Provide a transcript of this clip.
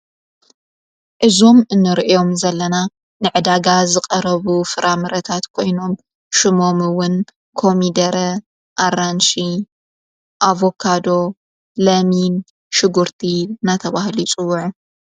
እዞም እንርእዮም ዘለና ንዕዳጋ ዝቐረቡ ፍራምረታት ኮይኖም ሹሞምውን ኮሚደረ ኣራንሽ ኣብካዶ ለሚን ሽጕርቲ ናተበሃሉ ይፅዉዑ።